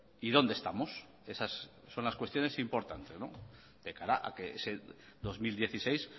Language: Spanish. y dónde estamos esas son las cuestiones importantes de cara a que ese dos mil dieciséis